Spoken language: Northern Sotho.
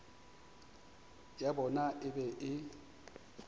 ya bona e be e